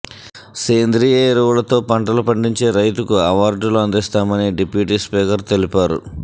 సేంద్రీయ ఎరువులతో పంటలు పండించే రైతుకు అవార్డులు అందిస్తామని డిప్యూటీ స్పీకర్ తెలిపారు